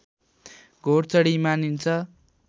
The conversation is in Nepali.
घोडचढी मानिन्छ